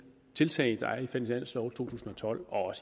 tiltag der er i finanslovene tusind og tolv og